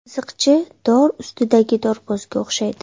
Qiziqchi dor ustidagi dorbozga o‘xshaydi.